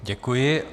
Děkuji.